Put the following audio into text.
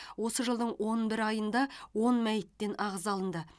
осы жылдың он бір айында он мәйіттен ағза алынды